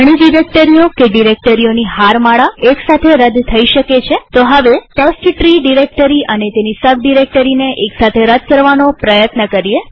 ઘણી ડિરેક્ટરીઓ કે ડિરેક્ટરીઓની હારમાળા એક સાથે રદ થઇ શકે છેતો હવે ટેસ્ટટ્રી ડિરેક્ટરી અને તેની સબ ડિરેક્ટરીને એક સાથે રદ કરવાનો પ્રયત્ન કરીએ